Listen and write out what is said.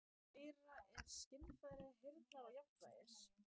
Í eyra eru skynfæri heyrnar og jafnvægis.